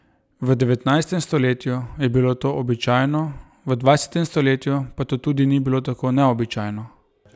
V devetnajstem stoletju je bilo to običajno, v dvajsetem stoletju pa to tudi ni bilo tako neobičajno.